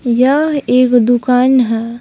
यह एक दुकान है।